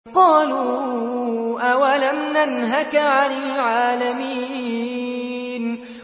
قَالُوا أَوَلَمْ نَنْهَكَ عَنِ الْعَالَمِينَ